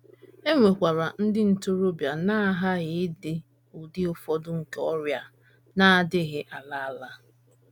E nwekwara ndị ntorobịa na - aghaghị idi ụdị ụfọdụ nke ọrịa na - adịghị ala ala.